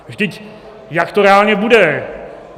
Vždyť jak to reálně bude?